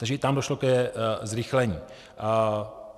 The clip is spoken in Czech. Takže i tam došlo ke zrychlení.